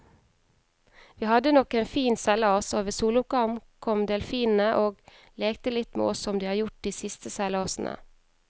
Vi hadde nok en fin seilas, og ved soloppgang kom delfinene og lekte litt med oss som de har gjort de siste seilasene.